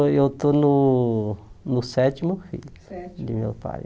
Não, eu estou no no sétimo filho Sétimo de meu pai.